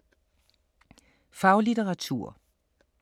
Faglitteratur